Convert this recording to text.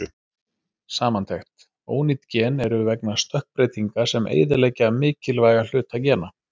Samantekt: Ónýt gen eru vegna stökkbreytinga sem eyðileggja mikilvæga hluta gena.